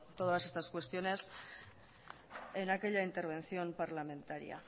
todas estas cuestiones en aquella intervención parlamentaria